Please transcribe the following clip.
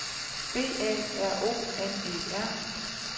B A R O N E R